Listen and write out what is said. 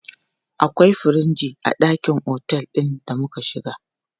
Akwai firiji a ɗakin otel ɗin da muka shiga.